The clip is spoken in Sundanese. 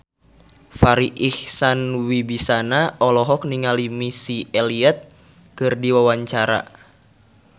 Farri Icksan Wibisana olohok ningali Missy Elliott keur diwawancara